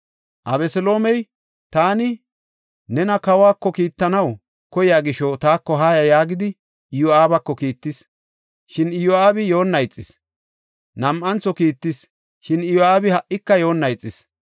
Abeseloomey, “Taani nena kawako kiittanaw koyiya gisho taako haaya” yaagidi Iyo7aabako kiittis; shin Iyo7aabi yoonna ixis. Nam7antho kiittis; shin Iyo7aabi ha77ika yoonna ixis.